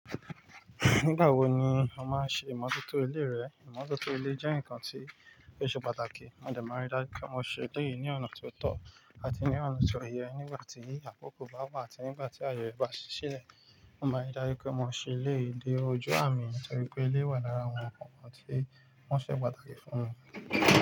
Nígbà wo ni a máa ń ṣe ìmọ́tótó ilé rẹ? Ìmọ́tótó ilé jẹ́ nǹkan tí ó ṣe pàtàkì. A máa darí dájú pé mo ṣí ilé yìí ní ọ̀nà tí ó tọ́ àti ní ọ̀nà tí ó yẹ nígbà tí akoko ba wa àti nígbà tí àyè bá ṣí lẹ̀. Mo máa dárí pé mo ṣí ilé dé ojú àmì torí pé ilé wà lára àwọn ǹkan tí wọ́n ṣe pàtàkì fún mi.